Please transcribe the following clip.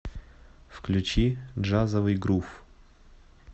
включи джазовый грув